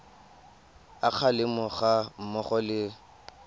a kgalemo ga mmogo le